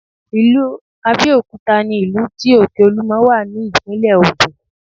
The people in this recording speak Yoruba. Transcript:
Ilu Abẹ́òkúta ni ìlú tí òkè olúmọ wà ní ìpínlẹ̀ Ògùn